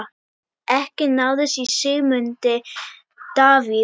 Ekki náðist í Sigmund Davíð.